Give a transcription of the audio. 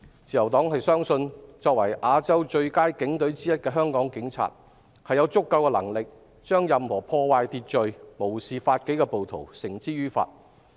自由黨相信，作為亞洲最佳警隊之一的香港警察，有足夠能力將任何破壞秩序、無視法紀的暴徒繩之以法。